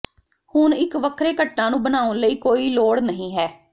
ਹੁਣ ਇੱਕ ਵੱਖਰੇ ਘਟਨਾ ਨੂੰ ਬਣਾਉਣ ਲਈ ਕੋਈ ਲੋੜ ਨਹ ਹੈ